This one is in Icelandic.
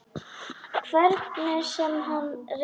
Hvernig sem hann reyndi.